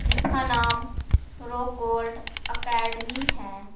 जिसका नाम rock gold academy है।